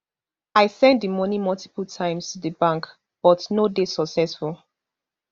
i send di money multiple times to di bank but no dey successful